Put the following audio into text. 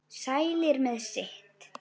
Sælir með sitt.